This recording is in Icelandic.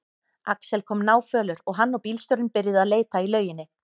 Axel kom náfölur og hann og bílstjórinn byrjuðu að leita í lauginni.